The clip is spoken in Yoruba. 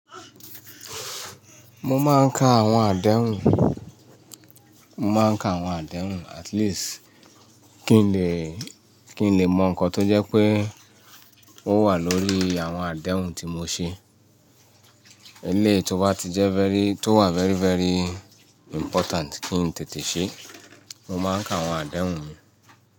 Mo máa ń ka àwọn àdéhùn, mo máa ń ka àwọn àdéhùn at least kí n lè, kí n lè mọ nǹkan tó jẹ́ pé ó wà lórí àwọn àdéhùn tí mo ṣe. Eléyìí tó wà very very important kí n tètè ṣe, mo máa ń ka àwọn àdéhùn mi.